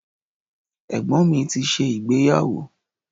Ẹ̀gbọ́n mi ti ṣe ìgbeyàwó